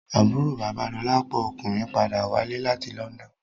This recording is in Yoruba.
Àbúrò bàba Dolapo ọkùnrin padà wálé láti London